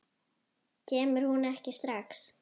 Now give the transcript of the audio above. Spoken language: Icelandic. Kemur hún ekki strax?